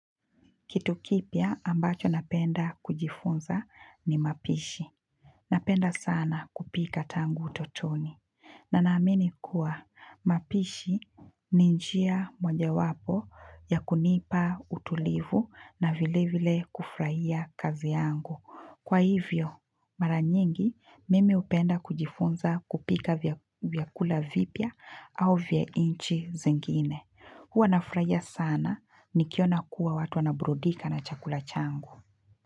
Kitu kipya ambacho napenda kujifunza ni mapishi. Napenda sana kupika tangu utotoni. Na naamini kuwa mapishi ni njia mojawapo ya kunipa utulivu na vile vile kufurahia kazi yangu. Kwa hivyo mara nyingi mimi hupenda kujifunza kupika vyakula vipya au vya nchi zingine. Huwa nafurahia sana nikiona kuwa watu wanaburudika na chakula changu.